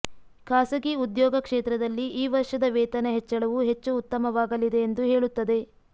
ಖಾಸಗಿ ಉದ್ಯೋಗ ಕ್ಷೇತ್ರದಲ್ಲಿ ಈ ವರ್ಷದ ವೇತನ ಹೆಚ್ಚಳವು ಹೆಚ್ಚು ಉತ್ತಮವಾಗಲಿದೆ ಎಂದು ಹೇಳುತ್ತದೆ